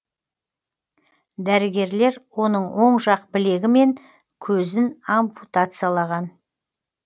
дәрігерлер оның оң жақ білегі мен көзін ампутациялаған